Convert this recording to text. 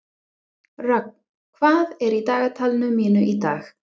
Rögn, hvað er í dagatalinu mínu í dag?